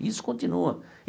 Isso continua.